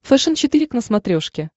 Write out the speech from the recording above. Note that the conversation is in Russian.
фэшен четыре к на смотрешке